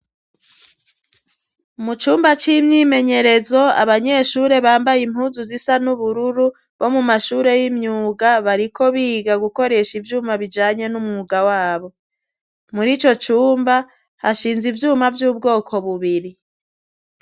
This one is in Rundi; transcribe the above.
Mu cumba c'imyimenyerezo abanyeshuri bambaye impuzu zisa n'ubururu bo mu mashure y'imyuga bariko biga gukoresha ivyuma bijanye n'umwuga wabo mur' ico cumba hashinze ivyuma vy'ubwoko bubiri